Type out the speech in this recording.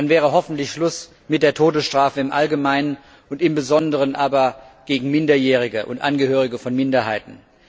Dann wäre hoffentlich Schluss mit der Todesstrafe im Allgemeinen und im Besonderen gegen Minderjährige und Angehörige von Minderheiten.